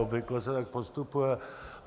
Obvykle se tak postupuje.